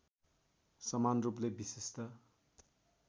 समान रूपले विशिष्ट